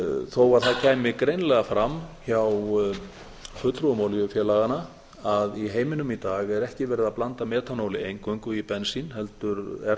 þó að það kæmi greinilega fram hjá fulltrúum olíufélaganna að í heiminum í dag er ekki verið að blanda metanóli eingöngu í bensín heldur er